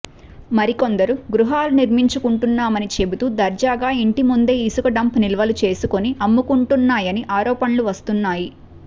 మరికొందరు గృహాలు నిర్మించుకుంటున్నామని చెబుతూ దర్జాగా ఇంటి ముందే ఇసుక డంప్ నిల్వలు చేసుకొని అమ్ముకుంటున్నాయని ఆరోపణలు వస్తున్నాయి